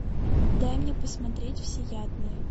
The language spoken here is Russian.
дай мне посмотреть всеядные